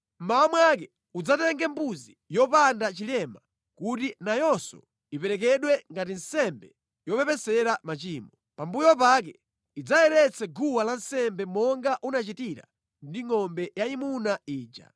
“Mmawa mwake udzatenge mbuzi yopanda chilema kuti nayonso iperekedwe ngati nsembe yopepesera machimo. Pambuyo pake idzayeretse guwa lansembe monga unachitira ndi ngʼombe yayimuna ija.